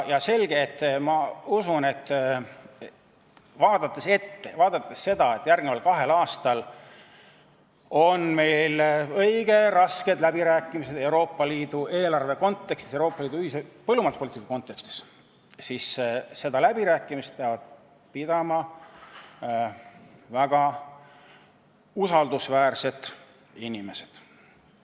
Ma usun, vaadates ettepoole, vaadates seda, et järgneval kahel aastal on meil õige rasked läbirääkimised Euroopa Liidu eelarve kontekstis, Euroopa Liidu ühise põllumajanduspoliitika kontekstis, et seda läbirääkimist peavad pidama väga usaldusväärsed inimesed.